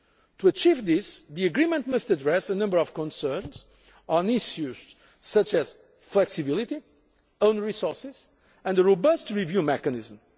ensured. To achieve that, the agreement must address a number of concerns on issues such as flexibility, own resources and a robust review mechanism.